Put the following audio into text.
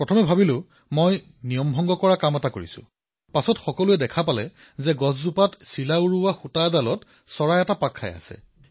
প্ৰথমে এনে লাগিছিল যে মই নিয়ম ভংগ কৰিলো কিন্তু পিছত সকলোৱে দেখা পালে যে চিলাৰ সুতাত এটা চৰাই লাগি ধৰিছিল